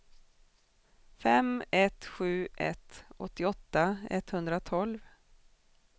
fem ett sju ett åttioåtta etthundratolv